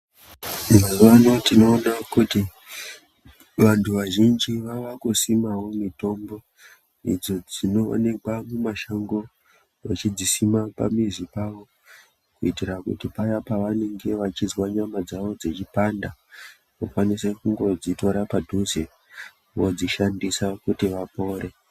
Mazuwa ano tinoona kuti vantu vazhinji vaakusimawo mitombo idzo dzinookwa mumashango vachidzisima pamizi pawo kuitira kuti paya pavenenge vachizwa nyama dzavo dzechipanda vakwanise kungodzitora padhuze vodzishandisa kuti vapore.